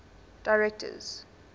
directors